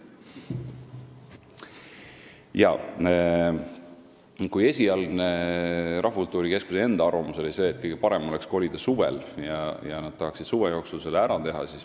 Esialgu oli Rahvakultuuri Keskuse enda arvamus see, et kõige parem oleks kolida suvel, et nad tahaksid selle suve jooksul ära teha.